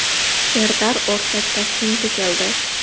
Serdar O‘rtach Toshkentga keldi.